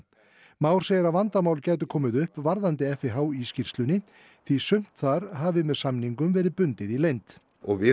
Már segir að vandamál gætu komið upp varðandi FIH í skýrslunni því sumt þar hafi með samningum verið bundið í leynd og við